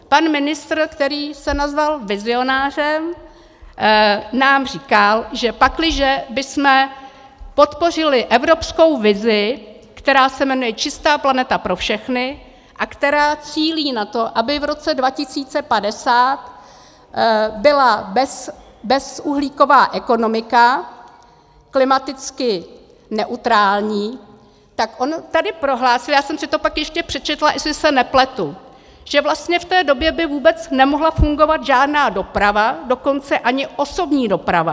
Pan ministr, který se nazval vizionářem, nám říkal, že pakliže bychom podpořili evropskou vizi, která se jmenuje Čistá planeta pro všechny a která cílí na to, aby v roce 2050 byla bezuhlíková ekonomika, klimaticky neutrální, tak on tady prohlásil - já jsem si to pak ještě přečetla, jestli se nepletu - že vlastně v té době by vůbec nemohla fungovat žádná doprava, dokonce ani osobní doprava.